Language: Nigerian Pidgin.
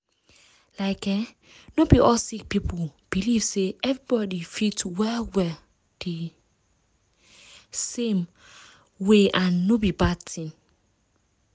like eeh no be all sick people believe say everybody fit well well di same ah way and no be bad tin.